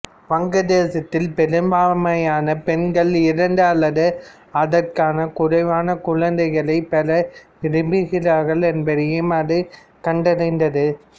வங்காளதேசத்தில் பெரும்பான்மையான பெண்கள் இரண்டு அல்லது அதற்கும் குறைவான குழந்தைகளைப் பெற விரும்புகிறார்கள் என்பதையும் அது கண்டறிந்தது